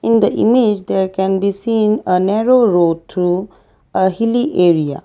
in the image there can be seen a narrow road through a hilly area.